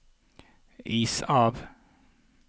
is av